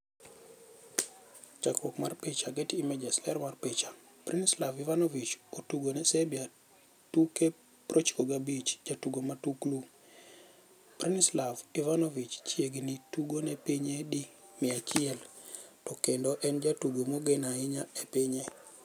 Chakruok mar picha, Getty Images. Ler mar picha, Branislav Ivanovic otugone Serbia tuke 95 Jatugo matuklu: Branislav Ivanovic chiegni tugo ne pinye di 100 to kendo en jatugo mogen ahinya e pinye.